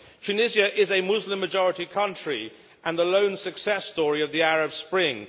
Tunisia is a Muslim majority country, and the lone success story of the Arab Spring.